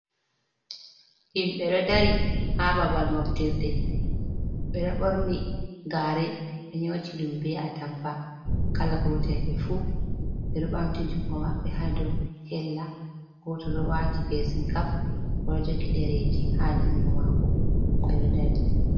Himbe do dari ha babal moftirde bedo borni gare be nyoti ɗum be atampa kala gotel. Be fu ɓe ɗo bamti jungo mabbe hado hella, goto ɗo wati pesinkap oɗo jogi dereji ha jungo mako beo ɗo dari.